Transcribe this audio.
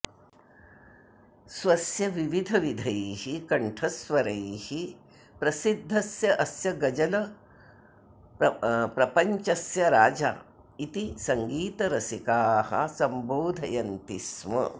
स्वस्य विविधविधैः कण्ठस्वरैः प्रसिद्धस्य अस्य गज़ल् प्रपञ्चस्य राजा इति सङ्गीतरसिकाः सम्बोधयन्ति स्म